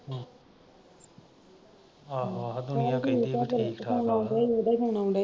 ਆਹੋ ਆਹੋ ਦੁਨੀਆ ਕਹਿੰਦੀ ਆ ਵੀ ਠੀਕ ਠਾਕ ਆ